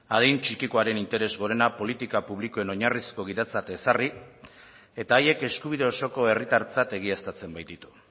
adin txikikoaren interes gorena politika publikoen oinarrizko gidatzat ezarri eta haiek eskubide osoko herritartzat egiaztatzen baititu